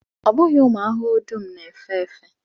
Ọ bụghị ụmụ ahụhụ dum na-efe efe